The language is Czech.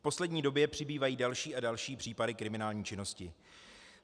V poslední době přibývají další a další případy kriminální činnosti.